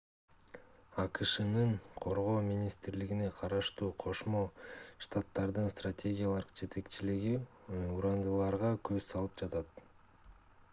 акшнын коргоо министрлигине караштуу кошмо штаттардын стратегиялык жетекчилиги урандыларга көз салып жатат